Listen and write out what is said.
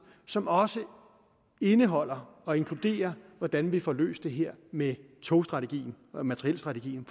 som også indeholder og inkluderer hvordan vi får løst det her med togstrategien materielstrategien